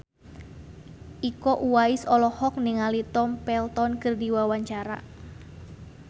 Iko Uwais olohok ningali Tom Felton keur diwawancara